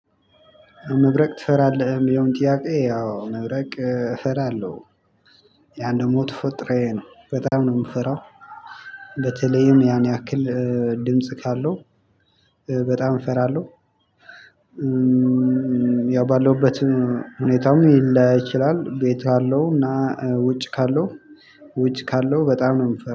መብረቅ? ትፈራለህ የሚለው ጥያቄ ያው መብረቅ እፈራለሁ። ያን ደግሞ ተፈጥሮዬ ነው በጣም ነው የምፈራው። በተለይም ያን ያክል ድምጽ ካለው በጣም እፈራለሁ። ያው ባለውበት ሁኔታም ሊለያይ ይችላል። ቤት ካለውና ውጭ ካለው ውጭ ካለው በጣም ነው የምፈራው